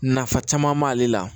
Nafa caman b'ale la